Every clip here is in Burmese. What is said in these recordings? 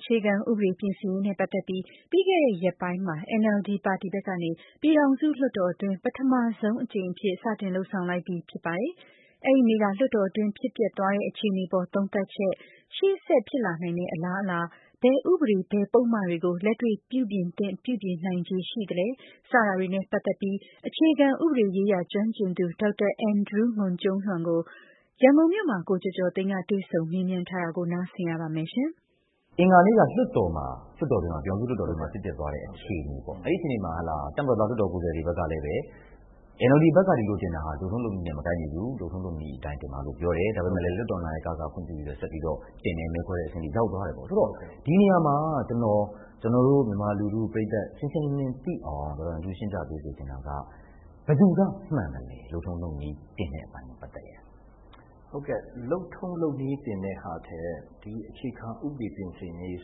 အခြေခံဥပဒေ ပြင်ဆင်ရေးနဲ့ပတ်သက်ပြီး ပြီးခဲ့တဲ့ရက်ပိုင်းမှာ NLD ပါတီဘက်ကနေ ပြည်ထောင်စု လွှတ်တော်တွင်း ပထမဆုံးအကြိမ်အဖြစ် စတင်လုပ်ဆောင်လိုက်ပြီဖြစ်ပါတယ်။ အဲဒီနေ့က လွှတ်တော်တွင်း ဖြစ်ပျက်သွားတဲ့ အခြေအနေအပေါ် သုံးသပ်ချက်၊ ရှေ့ဆက်ဖြစ်လာနိုင်တဲ့အလားအလာ၊ ဘယ်ဥပဒေ ဘယ်ပုဒ်မတွေကို လက်တွေ့ပြုပြင်သင့် ပြုပြင်နိုင်ခြေရှိသလဲ စတာတွေနဲ့ပတ်သက်ပြီး အခြေခံဥပဒေရေးရာကျွမ်းကျင်သူ ဒေါက်တာ အန်ဒရူး ငွန်ကျူံးလျန်ကို ရန်ကုန်မြို့ မှာ ကိုကျော်ကျော်သိန်းက တွေ့ဆုံမေးမြန်းထားပါတယ်။ အင်္ဂါနေ့က ပြည်ထောင်စုလွှတ်တော်မှာ ဖြစ်သွားတဲ့အခြေအနေပေ့ါ အဲဒီမှာ တပ်မတော်သားလွှတ်တော်ကိုယ်စားလှယ်တွေဘက်ကလည်း NLD ဘက်က ဒီလိုတင်တာဟာ လုပ်ထုံးလုပ်နည်းနဲ့ မကိုက်ညီဘူး။လုပ်ထုံးလုပ်နည်းအတိုင်းတင်ပါလို့ ပြောတယ်။ ဒါပေမယ့် လွှတ်ာတော် နာယက ဆက်ပြီးတော့ ခွင့်ပြုတယ် မဲခွဲတဲ့အဆင့်တွေရောက်သွားတယ် ။ ဆိုတော့ ဒီနေရာမှာ ကျနော်တို့ မြန်မာလူထုပရိတ်သတ် ရှင်းရှင်းလင်းလင်းသိအောင် ရှင်းပြပေးစေချင်တာက ဘယ်သူကမှန်သလဲ လုပ်ထုံးလုပ်နည်းတင်တဲ့အပိုင်းနဲ့ ပတ်သက်ရင်။ လုပ်ထုံးလုပ်နည်းတင်တဲ့ဟာထက် ဒီအခြေခံဥပဒေ ပြင်ဆင်ရေး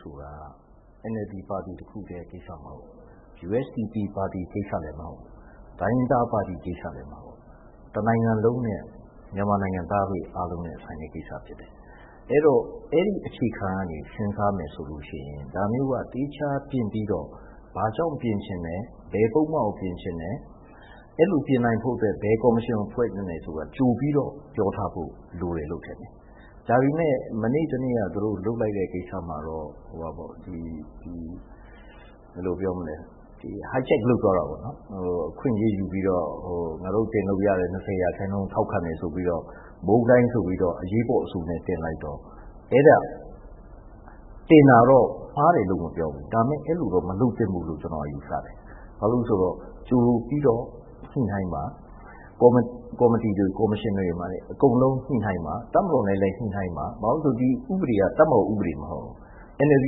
ဆိုတာက NLD ပါတီ တခုတည်းကိစ္စမဟုတ်ဘူး။ USDP ပါတီ ကိစ္စလည်းမဟုတ်ဘူး။ တိုင်းရင်းသားပါတီ ကိစ္စလည်းမဟုတ်ဘူး။ တနိုင်ငံလုံးနဲ့ မြန်မာနိုင်ငံသားတွေအားလုံးနဲ့ ဆိုင်တဲ့ ကိစ္စဖြစ်တယ်။ အဲဒီတော့ အဲဒီအခြေခံကနေ စဉ်းစားမယ်ဆိုရင် ဒါမျိုးက သီးခြားတင်ပြီးတော့ ဘာကြောင့်ပြင်ချင်တယ်။ ဘယ်ပုဒ်မကို ပြင်ချင်တယ် အဲလိုပြင်နိုင်ဖို့အတွက် ဘယ်ကော်မရှင်ကိုဖွဲ့သင့်တယ်ဆိုတာက ကြိုပြီးတော့ ပြောထားဖို့လိုတယ်လို့ ထင်တယ်။ ဒါပေမယ့် မနေ့ တနေ့က သူတို့ လုပ်လိုက်တဲ့ ကိစ္စမှာတော့ hijack လုပ်သွားတာပေါ့နော် အခွင့်အရေးယူပြီးတော့ ငါတို့ တင်လို့ရတဲ့ ၂၀ ရာခိုင်နှုန်း ထောက်ခံတယ်ဆိုပြီးတော့ ဗြန်းတိုင်းအဆိုနဲ့ အရေးပေါ်တင်လိုက်တော့ တင်တာတော့ မှားတယ်လို့မပြောဘူး ဒါပေမယ့် အဲလိုမလုပ်သင့်ဘူးလို့တော့ ကျနော်ယူဆတယ်။ ဘာဖြစ်လို့လဲဆိုတော့ ကြိုပြီးတော့ ညှိနှိုင်းပါ ၊ ကော်မတီတွေ ကော်မရှင်တွေမှာလည်း အကုန်လုံး ညှိနှိုင်းပါ။ တပ်မတော်နဲ့လည်း ညှိနှိုင်းပါ။ ဘာဖြစ်လို့လဲဆိုတော့ ဒီဥပဒေက တပ်မတော်ဥပဒေမဟုတ်ဘူး။ NLD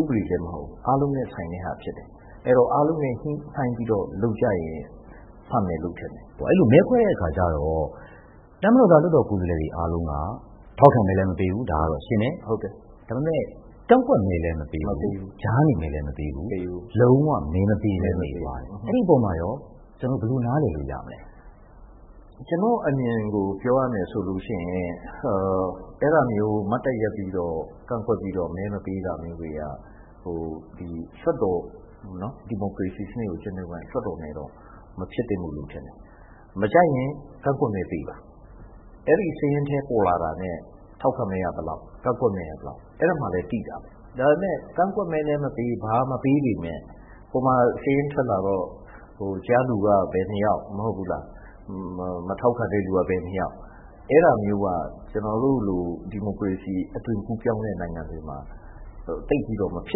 ဥပဒေလည်းမဟုတ်ဘူး အားလုံးနဲ့ ဆိုင်တဲ့ဟာဖြစ်တယ်။ အဲဒီတော့ အားလုံးနဲ့ ညှိနှိုင်းပြီးတော့ လုပ်ရင် မှန်မယ်လို့ထင်တယ်။ အဲဒီတော့ မဲခွဲတဲ့အခါကျတော့ တပ်မတော်သားလွှတ်တော်ကိုယ်စားလှယ်တွေအားလုံးက ထောက်ခံမဲလည်းမပေးဘူး ဒါကတော့ရှင်းတယ် ဒါပေမယ့် ကန့်ကွက်မဲလည်းမပေးဘူး။ ကြားနေ မဲလည်းမပေးဘူး။ လုံး၀ မဲမပေးပဲနေသွားတယ်။ အဲဒီအပေါ်မှာရော ကျနော်တို့ ဘယ်လိုနားလည်လို့ရမလဲ။ ကျနော့်အမြင်ကို ပြောရမယ်ဆိုရင် အဲဒါမျိုး မတ်တပ်ရပ်ပြီးတော့ ကန့်ကွက်ပြီးတော့ မဲမပေးတာမျိုးတွေက ဒီမိုကရေစီစနစ်ကို ကျင့်သုံးတဲ့ လွှတ်တော်နဲ့တော့ မဖြစ်သင့်ဘူးလို့တော့ထင်တယ် မကြိုက်ရင် ကန့်ကွက်မဲပေးပါ။ အဲဒီစရင်းထဲပေါ်လာတာနဲ့ ထောက်ခံမဲက ဘယ်လောက် ၊ ကန့်ကွက်မဲက ဘယ်လောက် အဲဒီမှာလည်းသိတာပဲ ဒါပေမယ့် ကန့်ကွက်မဲလည်းမပေး ဘာမှ မပေးပေမယ့် ဟိုမှာစာရင်းထွက်လာတော့ ကြားလူက ဘယ် နှစ်ယောက် ၊ မထောက်ခံတဲ့လူက ဘယ်နှစ်ယောက် အဲလိုမျိုးက ကျနော်တို့လို ဒီမိုကရေစီအသွင်ကူးပြောင်းတဲ့ နိုင်ငံတွေမှာ သိပ်ပြီးတော့ မဖြ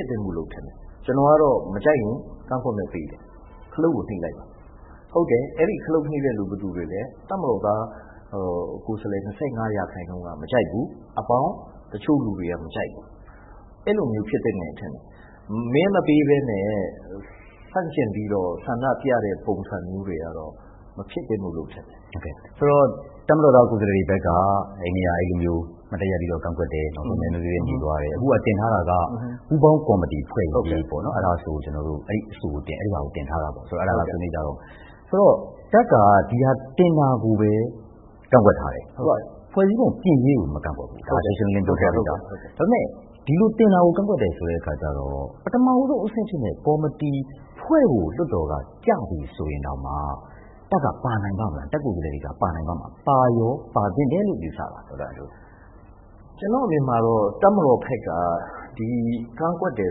စ်သင့်ဘူးလို့ထင်တယ်။ ကျနော်ကတော့ မကြိုက်ရင် ကန့်ကွက်မဲပေးတယ်၊ ခလုတ်ကို နိတ်လိုက်ပါ။ ဟုတ်တယ် အဲဒီ ခလုတ်နိတ်တာ ဘယ်သူတွေလဲ တပ်မတော်သား ကိုယ်စားလှယ် ၂၅ ရာခိုင်နှုန်းက မကြိုက်ဘူး အဲဒါပေါင်း၊ နောက်ပြီး တချို့လူတွေ မကြိုက်ဘူး အဲလိုမျိုးဖြစ်သင့်တယ်လို့ထင်တယ်။ မဲမပေးပဲနဲ့ ဆန့်ကျင်ပြီးတော့ ဆန္ဒပြတဲ့ ပုံစံမျိုးတွေကတော့ မဖြစ်သင့်ဘူးလို့ ထင်တယ်။ ဆိုတော့ တပ်မတော်သား ကိုယ်စားလှယ်တွေဘက်က အဲဒီနေ့က အဲလိုမျိုး မတ်တပ်ရပ်ပြီးကန့်ကွက်တယ် နောက်ဆုံးမဲမပေးပဲ နေသွားတယ်။ အခုက တင်ထားတာက ပူးပေါင်းကော်မတီဖွဲ့ ရေးပေါ့နော် အဲဒီအဆိုကို တင်ထားတာပေါ့နော်။ ဒီအဆိုကို ဆွေးနွေးကြတော့မယ်။ ဆိုတော့ တပ်က ဒီဟာတင်တာကိုပဲ ကန့်ကွက်ထားတယ်။ ဖွဲ့စည်းပုံပြင်ရေးကို မကန့်ကွက်ဘူး။ ဒါ ရှင်းရှင်းလင်းလင်းပြောထားပြီးသား။ ဒါပေမယ့် ဒီလိုတင်တာကို ကန့်ကွက်တယ်ဆိုတဲ့အခါကျတော့ ပထမဦးဆုံးအဆင့်ဖြစ်တဲ့ ကော်မတီဖွဲ့ဖို့ လွှတ်တော်က ကျပြီးဆိုရင်တောင် တပ်ကိုယ်စားလှယ်တွေပါနိုင်ပါ့မလား၊ ပါရော ပါသင့်တယ်လို့ ယူဆပါသလား။ ကျနော့်အမြင်မှာတော့ တပ်မတော်ဘက်က ကန့်ကွက်တယ်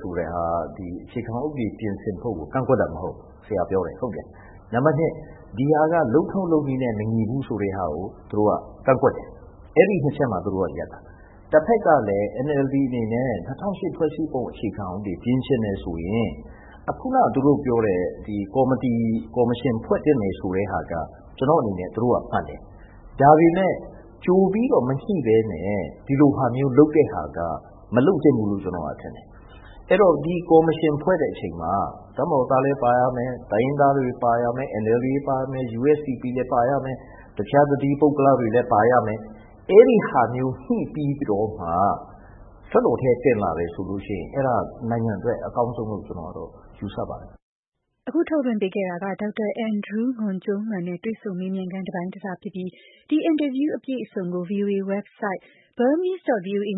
ဆိုတာက အခြေခံဥပဒေ ပြင်ဆင်ဖို့ကို ကန့်ကွက်တာမဟုတ်ဘူး။ နံပတ် ၂ ဒီဟာက လုပ်ထုံးလုပ်နည်းနဲ့ မညီဘူးဆိုတာကို သူတို့က ကန့်ကွက်တယ်။ အဲဒီ ၂ ချက်မှာ သူတို့က ရပ်တာ တဖက်ကလည်း NLD အနေနဲ့ ၂၀၀၈ ဖွဲ့စည်းပုံ အခြေခံဥပဒေပြင်ချင်တယ်ဆိုရင် ခုနသူတို့ပြောတဲ့ ကော်မတီ ကော်မရှင်ဖွဲ့သင့်တယ်ဆိုတာက ကျနော့်အနေနဲ့ သူတို့က မှန်တယ်။ ဒါပေမယ့် ကြိုပြီးတော့ မညှိပဲနဲ့ ဒီလိုဟာမျိုးလုပ်တာက မလုပ်သင့်ဘူးလို့ ကျနော်ထင်တယ်။ အဲဒီတော့ ဒီကော်မရှင်ဖွဲ့တဲ့အချိန်မှာ တပ်မတော်သားလည်းပါရမယ်၊ တိုင်းရင်းသားတွေ ပါရမယ် NLD တွေပါမယ်။ USDP လည်းပါရမယ် တခြားတသီး ပုဂ္ဂလတွေလည်း ပါရမယ်။ အဲဒါမျိုး ညှိပြီးတော့မှ လွှတ်တော်ထဲ တင်လာတယ်ဆိုရင် အဲဒါနိုင်ငံအတွက်အကောင်းဆုံးလို့ ယူဆပါတယ်။ အဲဒါကတော့ ဒေါက်တာ အန်ဒရူး ငွန်ကျူံးလျန်နဲ့ တွေ့ဆုံမေးမြန်းခန်း တပိုင်းတစဖြစ်ပြီး ဒီအင်တာဗျူး အပြည့်အစုံကို ဗွီအိုအေရဲ့ တနင်္ဂနွေန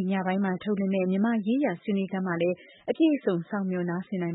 ေ့ညပိုင်းမှာ ထုတ်လွှင့်မယ့် မြန်မာ့ရေးရာဆွေးနွေးခန်းမှာလည်း အပြည့်အစုံ စောင့်မျှော် နားဆင်နိုင်ပါ